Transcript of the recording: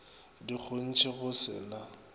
di kgontšwe go se na